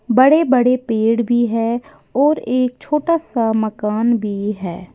बड़े बड़े पेड़ भी है और एक छोटा सा मकान भी है।